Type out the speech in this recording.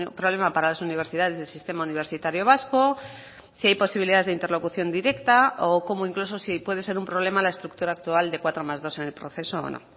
problema para las universidades del sistema universitario vasco si hay posibilidades de interlocución directa o cómo incluso si puede ser un problema la estructura actual de cuatro más dos en el proceso o no